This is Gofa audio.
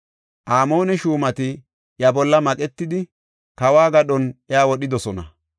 Amoone shuumati iya bolla maqetidi, kawo gadhon iya wodhidosona.